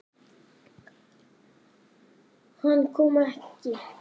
Hann kom ekki.